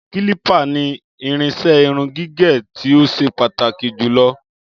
Kílípà ni irinṣẹ́ irun gígẹ̀ tí ó ṣe pàtàkì jù lọ